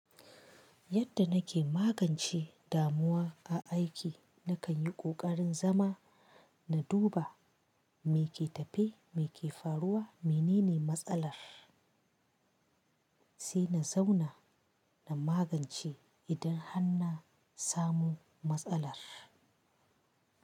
Yadda nake magance damuwa a aiki, na kan yi ƙoƙarin zama na duba me ke tafe, me ke faruwa, menene matsalar, sai na zauna na magance idan han na samu matsalar.